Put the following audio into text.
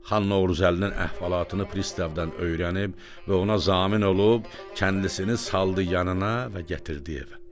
Xan Novruzəlinin əhvalatını pristavdan öyrənib və ona zamin olub kəndisini saldı yanına və gətirdi evə.